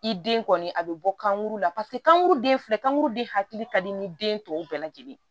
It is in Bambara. I den kɔni a bɛ bɔ kankuru la paseke kankuru den filɛ kankuru de hakili ka di ni den tɔw bɛɛ lajɛlen ye